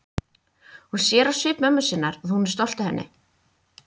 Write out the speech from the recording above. Hún sér á svip mömmu sinnar að hún er stolt af henni.